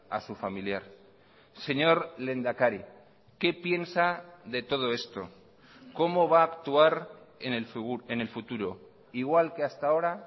a su familiar señor lehendakari qué piensa de todo esto cómo va a actuar en el futuro igual que hasta ahora